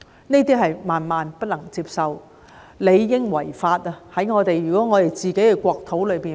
這些行為是萬萬不能接受的，如果在我們的國土發生，理當屬違法。